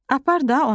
Apar da onu.